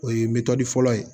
O ye metɔni fɔlɔ ye